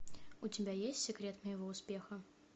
у тебя есть секрет моего успеха